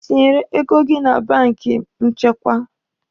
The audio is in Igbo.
Ị tinyere ego gị na banki nchekwa?